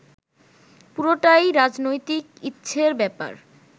পুরোটাই রাজনৈতিক ইচ্ছের ব্যাপার